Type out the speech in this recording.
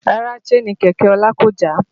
Rárá Síènì kẹ̀kẹ́ ọlá kò já